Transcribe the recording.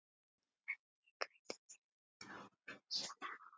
Ekkert gæti verið fjær sanni.